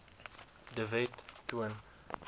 de wet toon